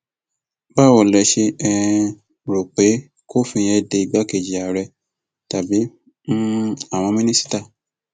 báwo lẹ ṣe um rò pé kòfin yẹn de igbákejì ààrẹ tàbí um àwọn mínísítà